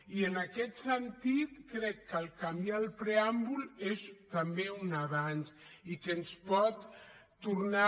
i en aquest sentit crec que canviar el preàmbul és també un avanç i que ens pot tornar